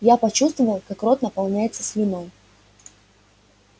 я почувствовал как рот наполняется слюной